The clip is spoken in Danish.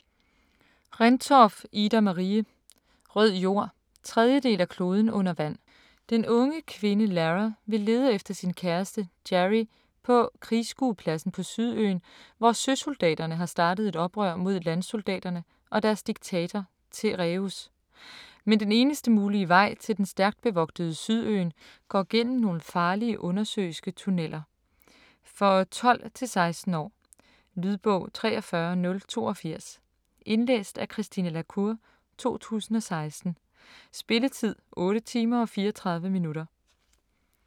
Rendtorff, Ida-Marie: Rød jord 3. del af Kloden under vand. Den unge kvinde Lara vil lede efter sin kæreste, Jarii på krigsskuepladsen på Sydøen, hvor søsoldaterne har startet et oprør mod landsoldaterne og deres diktator, Tereus. Men den eneste mulige vej til den stærkt bevogtede Sydøen går gennem nogle farlige undersøiske tunneler. For 12-16 år. Lydbog 43082 Indlæst af Christine la Cour, 2016. Spilletid: 8 timer, 34 minutter.